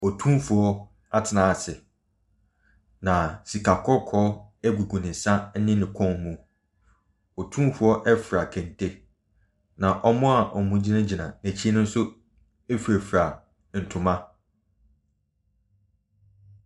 Otumfoɔ atena se na sika kɔkɔɔ egugu ne nsa ɛne ne kɔn mu. Otumfoɔ efira kente. Na wɔn a egyinagyina ne akyi no nso efirafira ntoma.